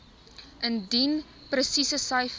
indien presiese syfers